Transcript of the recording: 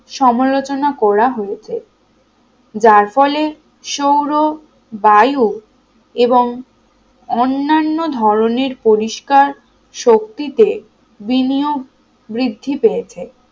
সমালোচনা করা হয়েছে যার ফলে সৌর বায়ু এবং অন্যান্য ধরনের পরিষ্কার শক্তিতে বিনিয়োগ বৃদ্ধি পেয়েছে